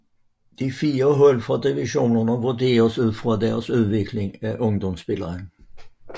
De 4 hold fra divisionerne vurderes ud fra deres udvikling af ungdomsspillere